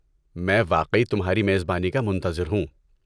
میں واقعی تمھاری میزبانی کا منتظر ہوں۔